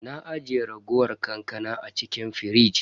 Na ajiye raguwar kankana a cikin firij.